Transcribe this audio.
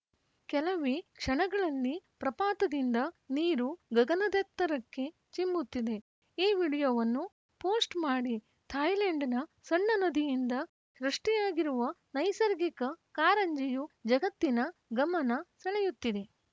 ಕೆಲವೇ ಕ್ಷಣಗಳಲ್ಲಿ ಪ್ರಪಾತದಿಂದ ನೀರು ಗಗನದೆತ್ತರಕ್ಕೆ ಚಿಮ್ಮುತ್ತದೆ ಈ ವಿಡಿಯೋವನ್ನು ಪೋಸ್ಟ್‌ ಮಾಡಿ ಥಾಯ್ಲೆಂಡ್‌ನ ಸಣ್ಣ ನದಿಯಿಂದ ಸೃಷ್ಟಿಯಾಗಿರುವ ನೈಸರ್ಗಿಕ ಕಾರಂಜಿಯು ಜಗತ್ತಿನ ಗಮನ ಸೆಳೆಯುತ್ತಿದೆ